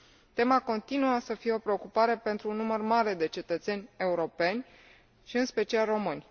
Tema continuă să fie o preocupare pentru un număr mare de cetățeni europeni, și în special români.